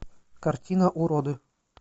картина уроды